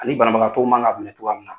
Ani banabagatɔ ma ga minɛ cogoya min na.